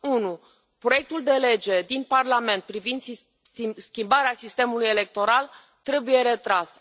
Unu proiectul de lege din Parlament privind schimbarea sistemului electoral trebuie retras.